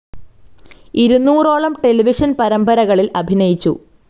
ഇരുനൂറോളം television പരമ്പരകളിൽ അഭിനയിച്ചു.